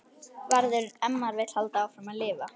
Verður- ef maður vill halda áfram að lifa.